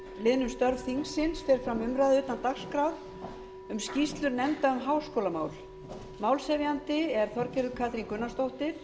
liðnum störf þingsins fer fram umræða utan dagskrár um skýrslu nefnda um háskólamál málshefjandi er háttvirtur þingmaður þorgerður katrín gunnarsdóttir